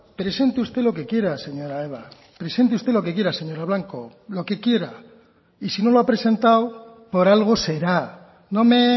presente usted lo que quiera señora eva presente usted lo que quiera señora blanco lo que quiera y si no lo ha presentado por algo será no me